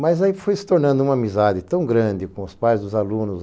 Mas aí foi se tornando uma amizade tão grande com os pais dos alunos.